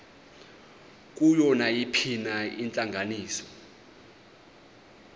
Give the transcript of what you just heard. kuyo nayiphina intlanganiso